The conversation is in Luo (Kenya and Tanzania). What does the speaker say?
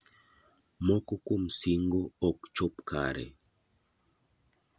Moko kuom sing'o ok chop kare.